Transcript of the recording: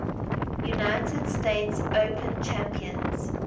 united states open champions